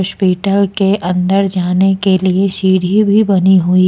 Hospital के अंदर जाने के लिए सीढ़ी भी बनी हुई है।